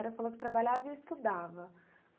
Você falou que trabalhava e estudava.